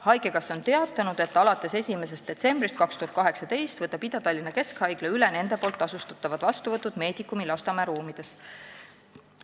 Haigekassa on teatanud, et alates 01.12.2018 võtab Ida-Tallinna Keskhaigla üle nende poolt tasustatavad vastuvõtud Medicumi Lasnamäe ruumides.